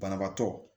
Banabaatɔ